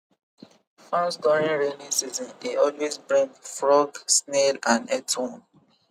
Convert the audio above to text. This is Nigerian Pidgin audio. farms during rainy season dey always bring frog snail and earthworm